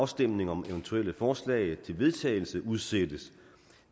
afstemning om eventuelle forslag til vedtagelse udsættes